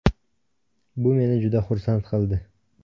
Bu meni juda xursand qildi.